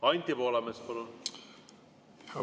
Anti Poolamets, palun!